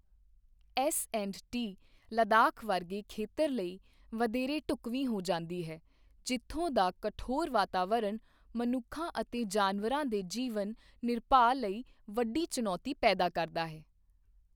S&T Ladakh ਵਰਗੇ ਖੇਤਰ ਲਈ ਵਧੇਰੇ ਢੁੱਕਵੀਂ ਹੋ ਜਾਂਦੀ ਹੈ ਜਿਥੋਂ ਦਾ ਕਠੋਰ ਵਾਤਾਵਰਣ ਮਨੁੱਖਾਂ ਅਤੇ ਜਾਨਵਰਾਂ ਦੇ ਜੀਵਨ ਨਿਰਵਾਹ ਲਈ ਵੱਡੀ ਚੁਣੌਤੀ ਪੈਦਾ ਕਰਦਾ ਹੈ।